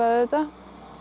auðvitað